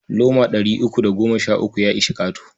Loma ɗari uku da goma sha uku ya ishi ƙato.